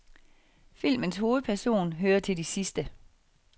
Filmens hovedperson hører til de sidste.